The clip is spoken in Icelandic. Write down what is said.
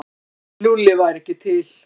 Lúlli væri ekki til.